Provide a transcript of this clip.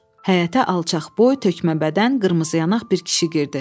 Həyətə alçaqboy, tökmə bədən, qırmızı yanaq bir kişi girdi.